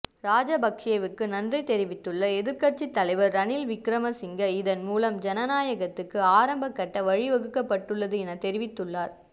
ராஜபக்ஷ்வுக்கு நன்றி தெரிவித்துள்ள எதிர்கட்சி தலைவர் ரணில் விக்ரமசிங்க இதன்மூலம் ஜனாநாயகத்துக்கு ஆரம்பகட்ட வழிவகுப்பட்டுள்ளது என தெரிவித்ததுள்ளார்